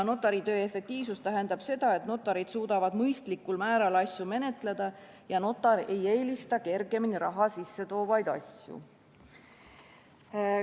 Notari töö efektiivsus tähendab seda, et notarid suudavad mõistlikul määral asju menetleda ja notar ei eelista kergemini raha sisse toovaid asju.